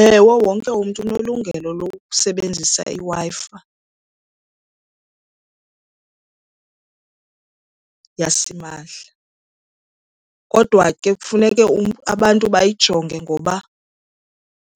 Ewe, wonke umntu unelungelo lokusebenzisa iWi-Fi yasimahla. Kodwa ke kufuneke abantu bayijonge ngoba